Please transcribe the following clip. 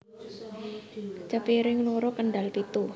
Cepiring loro Kendal pitu